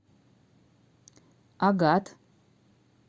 агат